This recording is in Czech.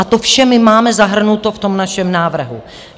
A to vše my máme zahrnuto v tom našem návrhu.